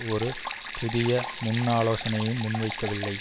ஒரு புதிய முன்னாலோசனையையும் முன்வைக்கவில்லை